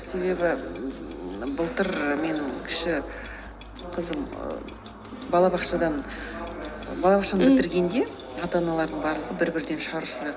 себебі ммм былтыр мен кіші қызым ііі балабақшаны бітіргенде ата аналардың барлығы бір бірден шар